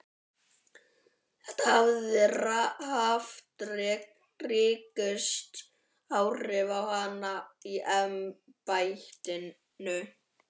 Þetta hafi haft ríkust áhrif á hana í embættinu.